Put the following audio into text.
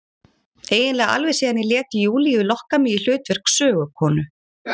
Eiginlega alveg síðan ég lét Júlíu lokka mig í hlutverk sögukonu.